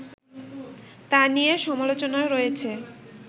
তা নিয়ে সমালোচনা রয়েছে